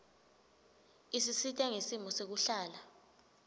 isisita ngesimo sekuhlala